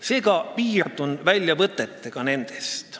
Seega piirdun väljavõtetega toimunust.